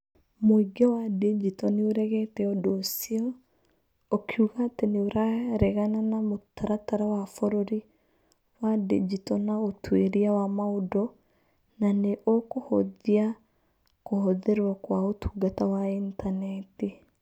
Mũingĩ wa digital nĩ ũregete ũndũ ũcio, ũkiuga atĩ nĩ ũraregana na mũtaratara wa bũrũri wa digito na ũtuĩria wa maũndũ na nĩ ũkũhũthia kũhũthĩrwo kwa ũtungata wa Intaneti.